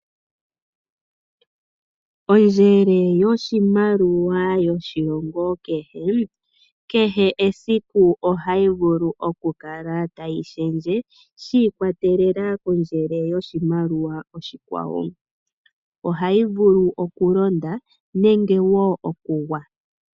Ondjele oshimaliwa yoshilongo kehe, kehe esiku ohayi vulu okukala tayi shendje, shi ikwatelela kondjele yoshimaliwa oshikwawo. Ohayi vulu okulonda, nenge wo okugwa.